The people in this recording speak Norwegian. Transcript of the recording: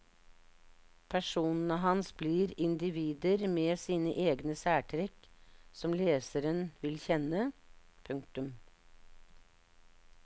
Personene hans blir individer med sine egne særtrekk som leseren vil kjenne. punktum